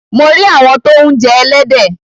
Mo rí àwọn tó ń jẹ ẹlẹ́dẹ̀.